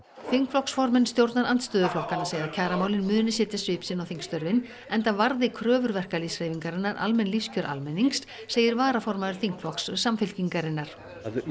þingflokksformenn stjórnarandstöðuflokkanna segja að kjaramálin muni setja svip sinn á þingstörfin enda varða kröfur verkalýðshreyfingarinnar almenn lífskjör almennings segir varaformaður þingflokks Samfylkingarinnar